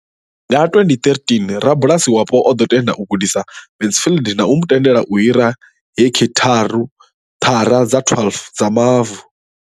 Nga 2013, rabulasi wapo o ḓo tenda u gudisa Mansfield na u mu tendela u hira heki thara dza 12 dza mavu.